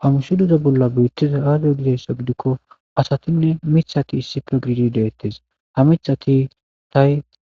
Ha misileza bolla beetizay aaze gizaysa gidiko asatinne miththati issi bolla deetes.